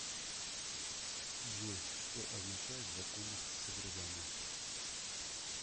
джой что означает законность содержания